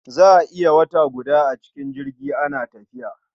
Za a iya wata guda a cikin jirgi ana tafiya.